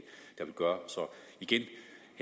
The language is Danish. det